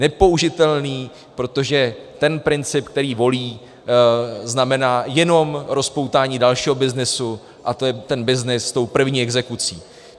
Nepoužitelný, protože ten princip, který volí, znamená jenom rozpoutání dalšího byznysu, a to je ten byznys s tou první exekucí.